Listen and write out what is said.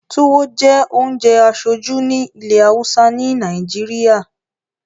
Tùwo jẹ́ ounjẹ aṣoju ni ìlẹ hausa ni Nàìjíríà